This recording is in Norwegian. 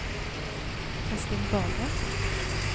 Kristin Borge